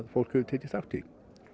fólk hefur tekið þátt í